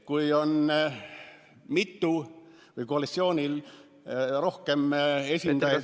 Kui koalitsioonil on rohkem esindajaid ...